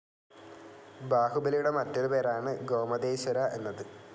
ബാഹുബലിയുടെ മറ്റൊരു പേരാണ് ഗോമതേശ്വര എന്നത്.